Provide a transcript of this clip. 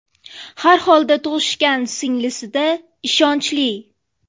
Har holda tug‘ishgan singlisi-da, ishonchli.